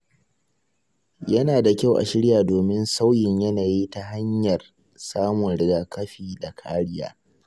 Yana da kyau a shirya domin sauyin yanayi ta hanyar samun rigakafi da kariya.